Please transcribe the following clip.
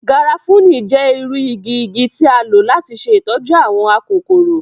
Garafuni jẹ iru igi igi ti a lo lati ṣe itọju awọn akokoro.